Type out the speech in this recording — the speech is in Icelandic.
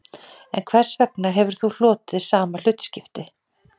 En hvers vegna hefur þú hlotið sama hlutskipti